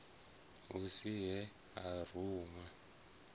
hu si he a runwa